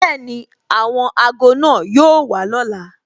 Bẹẹni, àwọn ago náà yóò wà lọ́la